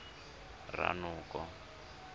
ranoko